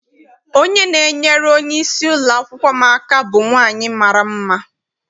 Onye na-enyere onye isi ụlọakwụkwọ m aka bụ nwaanyị mara mma.